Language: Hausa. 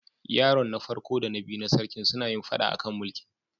Yaron farko da na biyu na sarkin suna yin fada a kan mulkin.